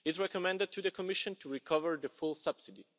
It recommended to the Commission to recover the full subsidy.